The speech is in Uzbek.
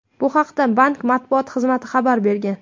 Bu haqda bank matbuot xizmati xabar bergan .